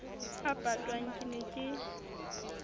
a patwang ke ne ke